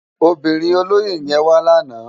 Óbirin ólóyé yèn wá làná